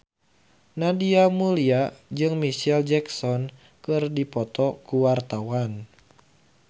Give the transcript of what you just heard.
Nadia Mulya jeung Micheal Jackson keur dipoto ku wartawan